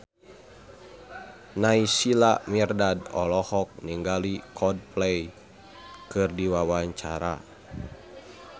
Naysila Mirdad olohok ningali Coldplay keur diwawancara